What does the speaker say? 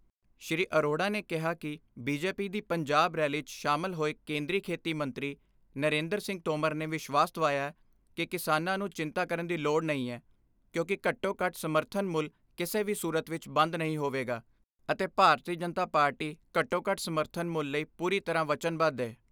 ਸ੍ਰੀ ਅਰੋੜਾ ਨੇ ਕਿਹਾ ਕਿ ਬੀਜੇਪੀ ਦੀ ਪੰਜਾਬ ਰੈਲੀ 'ਚ ਸ਼ਾਮਲ ਹੋਏ ਕੇਂਦਰੀ ਖੇਤੀ ਮੰਤਰੀ ਨਰਿੰਦਰ ਸਿੰਘ ਤੋਮਰ ਨੇ ਵਿਸ਼ਵਾਸ ਦਵਾਇਆ ਕਿ ਕਿਸਾਨਾਂ ਨੂੰ ਚਿੰਤਾ ਕਰਨ ਦੀ ਲੋੜ ਨਹੀਂ ਐ, ਕਿਉਂਕਿ ਘੱਟੋ ਘੱਟ ਸਮਰਥਨ ਮੁੱਲ ਕਿਸੇ ਵੀ ਸੂਰਤ ਵਿਚ ਬੰਦ ਨਹੀਂ ਹੋਵੇਗਾ ਅਤੇ ਭਾਰਤੀ ਜਨਤਾ ਪਾਰਟੀ ਘੱਟੋ ਘੱਟ ਸਮਰਥਨ ਮੁੱਲ ਲਈ ਪੂਰੀ ਤਰ੍ਹਾਂ ਵਚਨਬੱਧ ਐ।